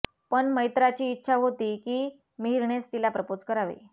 पण मैत्राची इच्छा होती की मिहीरनेच तिला प्रपोज करावे